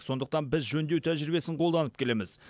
сондықтан біз жөндеу тәжірибесін қолданып келеміз